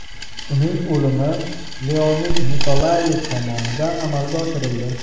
Uning o‘limi Leonid Nikolayev tomonidan amalga oshirildi.